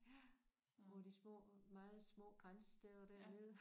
Ja på de små meget små grænsesteder dernede